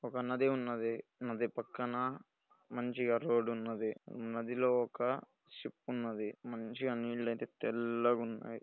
ఒక నది ఉన్నది పక్కన మంచిగా రోడ్ ఉన్నది నదిలో ఒక షిప్ ఉన్నది మంచిగా నీళ్ళు అయితే తెల్లగా ఉన్నాయి.